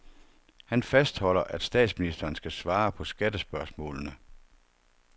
Han fastholder, at statsministeren skal svare på skattespørgsmålene.